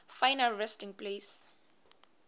final resting place